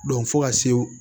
fo ka se